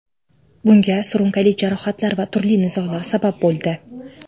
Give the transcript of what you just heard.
Bunga surunkali jarohatlar va turli nizolar sabab bo‘ldi.